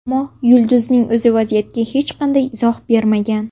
Ammo yulduzning o‘zi vaziyatga hech qanday izoh bermagan.